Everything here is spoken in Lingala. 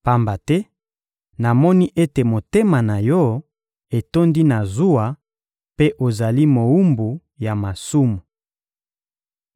Pamba te namoni ete motema na yo etondi na zuwa mpe ozali mowumbu ya masumu.